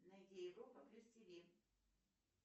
найди европа плюс тв